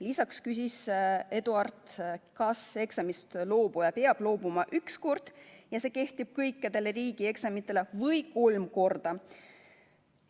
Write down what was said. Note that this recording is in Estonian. Lisaks küsis Eduard, kas eksamist loobuja peab loobuma üks kord, ja see kehtib kõikidele riigieksamitele, või kolm korda.